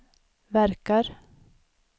verkar